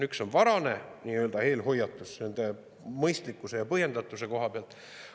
Üks asi on varane nii-öelda eelhoiatus nende mõistlikkuse ja põhjendatuse koha pealt.